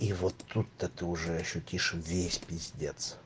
и вот тут-то ты уже ощутишь весь пиздец